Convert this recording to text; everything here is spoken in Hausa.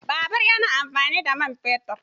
Babur ya na amfani da man fetur.